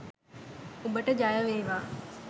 උඹට ජයවේවා